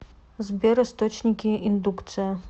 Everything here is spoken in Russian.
сбер источники индукция